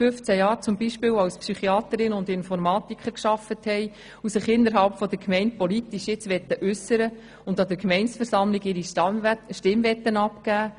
Sie arbeiten beispielsweise seit über 15 Jahren als Psychiaterin und Informatiker und möchten sich jetzt innerhalb der Gemeinde politisch äussern und an der Gemeindeversammlung ihre Stimme abgeben.